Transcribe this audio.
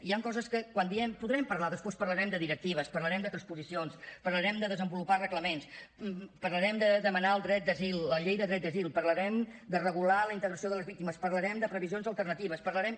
hi han coses que quan diem podrem parlar després parlarem de directives parlarem de transposicions parlarem de desenvolupar reglaments parlarem de demanar el dret d’asil la llei de dret d’asil parlarem de regular la integració de les víctimes parlarem de previsions alternatives parlarem